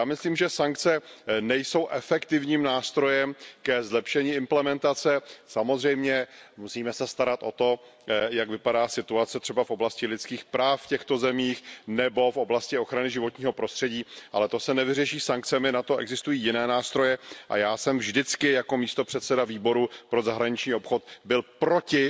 Já myslím, že sankce nejsou efektivním nástrojem ke zlepšení implementace, samozřejmě musíme se starat o to, jak vypadá situace třeba v oblasti lidských práv v těchto zemích nebo v oblasti ochrany životního prostředí, ale to se nevyřeší sankcemi, na to existují jiné nástroje, a já jsem vždycky jako místopředseda Výboru pro zahraniční obchod byl proti